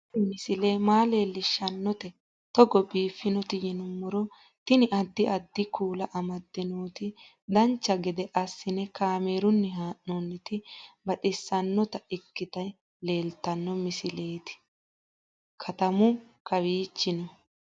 Tini misile maa leellishshannote togo biiffinoti yinummoro tini. addi addi kuula amadde nooti dancha gede assine kaamerunni haa'noonniti baxissannota ikkite leeltanno misileetimekuri katamu kantiwichi no